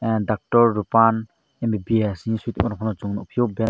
doctor rupan mbbs hing soyoe tongphio ke.